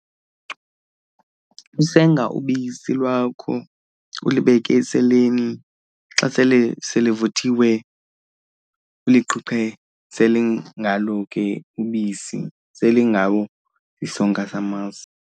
Usenga ubisi lwakho ulibeke eseleni xa sele selivuthiwe uliqhuqhe, selingalo ke ubisi, selingawo isonka samasi.